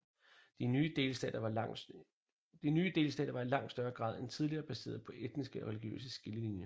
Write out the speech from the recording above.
De nye delstater var i langt større grad end tidligere baseret på etniske og religiøse skillelinjer